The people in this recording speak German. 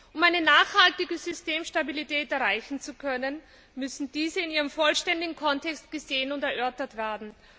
Um eine nachhaltige Systemstabilität erreichen zu können, müssen diese in ihrem vollständigen Kontext gesehen und erörtert werden.